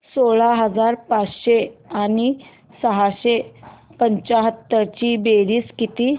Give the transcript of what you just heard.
सोळा हजार पाचशे आणि सहाशे पंच्याहत्तर ची बेरीज किती